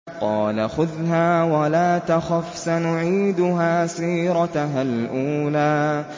قَالَ خُذْهَا وَلَا تَخَفْ ۖ سَنُعِيدُهَا سِيرَتَهَا الْأُولَىٰ